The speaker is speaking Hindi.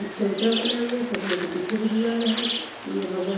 चौतरा बना हुआ है प्रतिमा के पीछे भी दीवाल है यह भगवान--